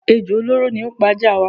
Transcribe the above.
Ejò olóró ni ó pa ajá waa.